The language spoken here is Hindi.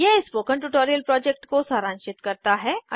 यह स्पोकन ट्यूटोरियल प्रोजेक्ट को सारांशित करता है